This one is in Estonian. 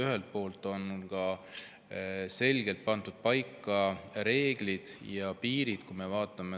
Ühelt poolt on selgelt pandud paika reeglid ja piirid.